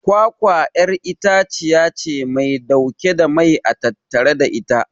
kwakwa'yar itaciyace Mai dauke da mai a tattare da ita